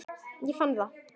Ég fann það!